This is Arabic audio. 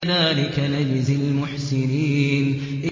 كَذَٰلِكَ نَجْزِي الْمُحْسِنِينَ